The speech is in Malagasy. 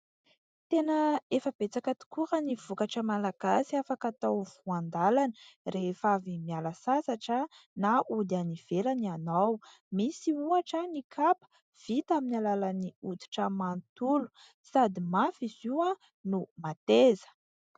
Tena efa betsaka tokoa raha ny vokatra malagasy afaka hatao voan-dàlana rehefa avy miala sasatra na ody any ivelany ianao, misy ohatra ny kapa vita amin'ny alalan'ny hoditra manontolo sady mafy izy io no mateza.